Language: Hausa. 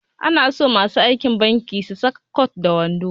Ana so masu aiki a banki su saka kwat da wando